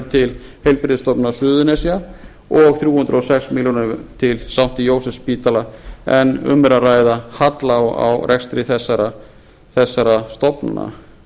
til heilbrigðisstofnunar suðurnesja og þrjú hundruð og sex milljónir til st jósefsspítala en um er að ræða halla á rekstri þessara stofnana